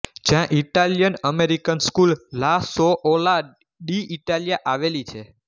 જ્યાં Italian American school લા સોઓલા ડીઇટાલિયા આવેલી છે